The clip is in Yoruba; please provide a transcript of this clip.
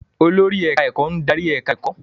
Olórí ẹ̀káá-ẹ̀kọ́ ń darí ẹ̀ká ẹ̀kọ́